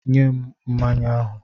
Nye m mmanya ahụ!